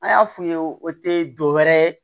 An y'a f'u ye o te dɔ wɛrɛ ye